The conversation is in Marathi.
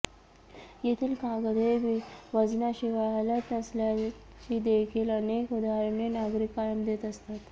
येथील कागद हे वजनाशिवाय हलत नसल्याचीदेखील अनेक उदाहरणे नागरिक कायम देत असतात